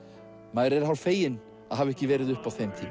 maður er hálf feginn að hafa ekki verið uppi á þeim tíma